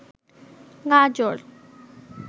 গাজর